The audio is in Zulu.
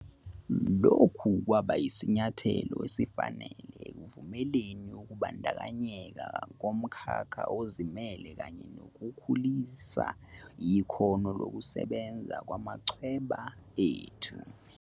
Lokhu kwakuyisinyathelo esifanele ekuvumeleni ukubandakanyeka komkhakha ozimele kanye nokukhulisa ikhono lokusebenza kwamachweba ethu.